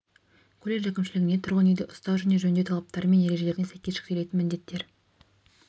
колледж әкімшілігіне тұрғын үйді ұстау және жөндеу талаптары мен ережелеріне сәйкес жүктелетін міндеттер